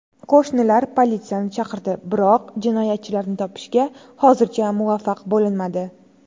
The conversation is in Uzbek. Qo‘shnilar politsiyani chaqirdi, biroq jinoyatchilarni topishga hozircha muvaffaq bo‘linmadi.